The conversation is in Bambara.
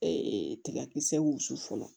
tigakisɛw wusu fɔlɔ